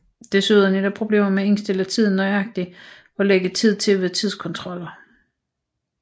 Desuden er der problemer med at indstille tiden nøjagtigt og lægge tid til ved tidskontroller